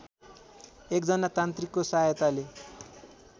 एकजना तान्त्रिकको सहायताले